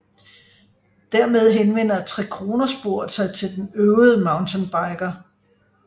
Dermed henvender Trekronersporet sig til den øvede mountainbiker